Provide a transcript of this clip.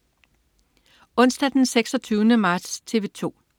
Onsdag den 26. marts - TV 2: